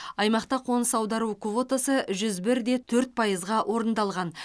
аймақта қоныс аудару квотасы жүз бірде төрт пайызға орындалған